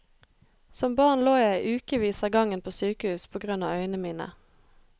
Som barn lå jeg i ukevis av gangen på sykehus på grunn av øynene mine.